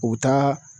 U bɛ taa